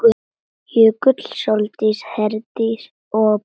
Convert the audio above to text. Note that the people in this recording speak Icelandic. Jökull, Sóldís, Heiðdís og Blædís.